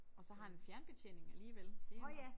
Og så har han en fjernbetjening alligevel det jo